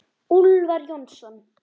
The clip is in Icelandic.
Úlfar Jónsson